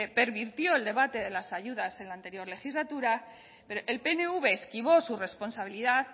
pervirtió el debate de las ayudas en la anterior legislatura el pnv esquivó su responsabilidad